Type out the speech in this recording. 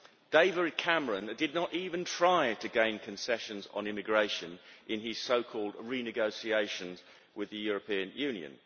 David Cameron did not even try to gain concessions on immigration in his so-called renegotiation with the European Union.